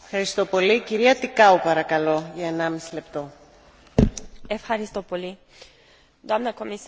Doamnă comisar, Cartea albastră O politică maritimă integrată pentru Uniunea Europeană a fost adoptată în octombrie